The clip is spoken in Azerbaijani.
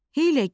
hiyləgər,